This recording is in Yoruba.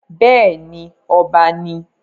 bẹ́ẹ̀ni, ọba ni I